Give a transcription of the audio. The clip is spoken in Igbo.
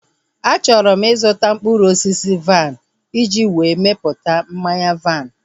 A chọrọ m ịzụta mkpụrụ osisi vaịn iji wee mepụta mmanya vaịn